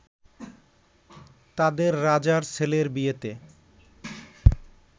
তাদের রাজার ছেলের বিয়েতে